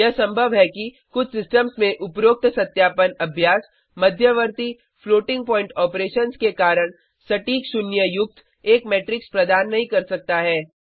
यह संभव है कि कुछ सिस्टम्स में उपरोक्त सत्यापन अभ्यास मध्यवर्ती फ्लोटिंग पॉइंट ऑपरेशंस के कारण सटीक शून्य युक्त एक मैट्रिक्स प्रदान नहीं कर सकता है